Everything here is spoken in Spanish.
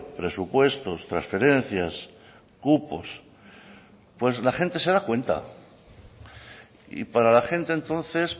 presupuestos transferencias cupos pues la gente se da cuenta y para la gente entonces